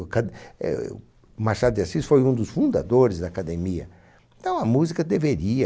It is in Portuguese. O o Machado de Assis foi um dos fundadores da Academia, então a música deveria...